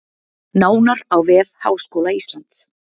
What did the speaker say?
Nánar á vef Háskóla Íslands